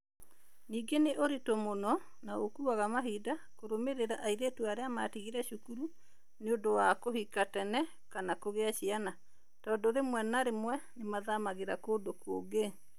Ningĩ nĩ ũritũ mũno na ũkuaga mahinda kũrũmĩrĩra airĩtu arĩa matigire cukuru nĩ ũndũ wa kũhika tene kana kũgĩa ciana, tondũ rĩmwe na rĩmwe nĩ mathamagĩra kũndũ kũngĩ.